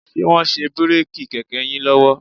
Ṣe wọ́n ń ṣe bíréèkì kẹ̀kẹ́ yín lọ́wọ́?